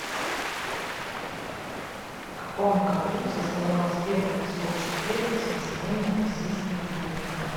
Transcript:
в каком году состоялась первая всеобщая перепись населения российской империи